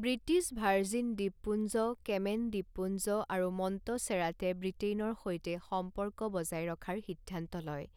British Virgin দ্বীপপুঞ্জ, Cayman দ্বীপপুঞ্জ আৰু মণ্টচেৰাটে ব্ৰিটেইনৰ সৈতে সম্পৰ্ক বজাই ৰখাৰ সিদ্ধান্ত লয়,